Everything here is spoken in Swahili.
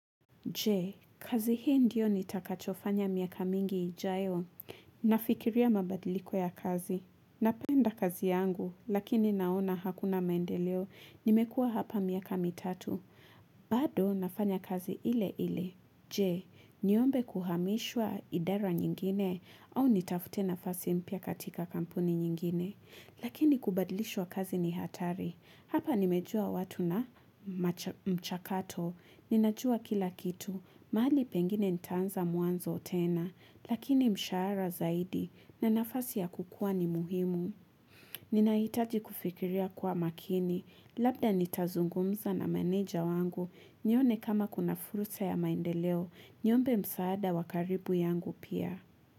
Je, kazi hii ndiyo nitakachofanya miaka mingi ijayo? Nafikiria mabadiliko ya kazi. Napenda kazi yangu, lakini naona hakuna maendeleo. Nimekuwa hapa miaka mitatu. Bado, nafanya kazi ile ile. Je, niombe kuhamishwa idara nyingine au nitafute nafasi mpya katika kampuni nyingine. Lakini kubadilishwa kazi ni hatari. Hapa nimejua watu na mchakato, ninajua kila kitu, mahali pengine nitaanza mwanzo tena, lakini mshahara zaidi na nafasi ya kukua ni muhimu. Ninahitaji kufikiria kwa makini, labda nitazungumza na meneja wangu, nione kama kuna fursa ya maendeleo, niombe msaada wa karibu yangu pia.